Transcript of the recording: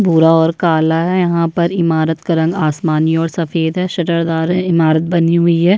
भूरा और काला है यहाँ पर इमारत का रंग आसमानी और सफ़ेद है शतरदार है इमारत बनी हुई है।